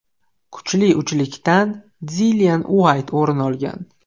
Kuchli uchlikdan Dillian Uayt o‘rin olgan.